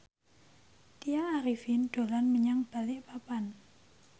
Tya Arifin dolan menyang Balikpapan